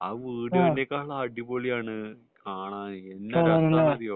അത് വീഡിയോനേക്കാൾ അടിപൊളിയാണ് കാണാൻ എന്താ രസം എന്നറിയോ